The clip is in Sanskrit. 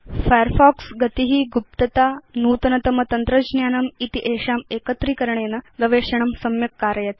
फायरफॉक्स गति गुप्तता नूतनतम तन्त्रज्ञानम् इति एषां एकत्रीकरणेन गवेषणं सम्यक् कारयति